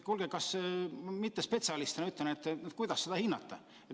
Ma mittespetsialistina küsin, kuidas seda hinnata.